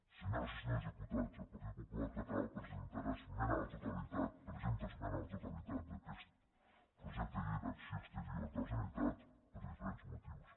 senyores i senyors diputats el partit popular català presentarà esmena a la totalitat presenta esmena a la totalitat d’aquest projecte de llei d’acció exterior de la generalitat per diferents motius